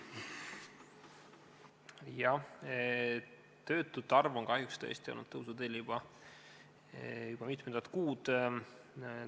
Jah, töötute arv on kahjuks tõesti olnud tõusuteel juba mitmendat kuud.